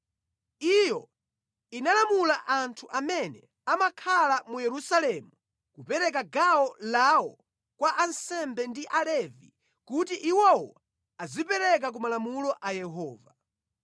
Iyo inalamula anthu amene amakhala mu Yerusalemu kupereka gawo lawo kwa ansembe ndi Alevi kuti iwowo adzipereke ku malamulo a Yehova.